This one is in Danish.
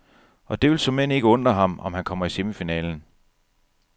Og det vil såmænd ikke undre ham, om han kommer i semifinalen.